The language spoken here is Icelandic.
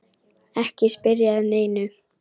Ekki spyrja að neinu!